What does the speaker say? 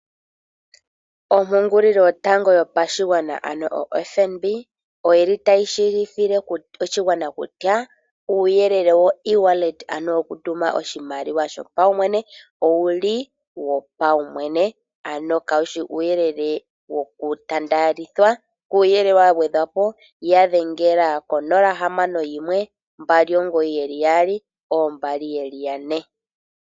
Ompungulilo yotango yopashigwana ano oFNB oyi li tayi tseyithile oshigwana kutya uuyelele wo ewallet, ano okutuma oshimaliwa shopaumwene owu li wopaumwene, ano kaushi uuyelele wokutaandelithwa. Kuuyelele wa gwedhwa po ya dhengela ko 061 2992222.